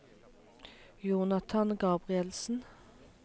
Jonathan Gabrielsen